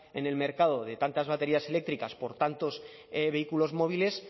en el mercado de tantas baterías eléctricas por tantos vehículos móviles